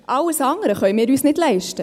Alles andere können wir uns nicht leisten.